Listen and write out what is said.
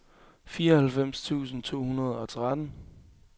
fireoghalvfems tusind to hundrede og tretten